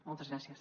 moltes gràcies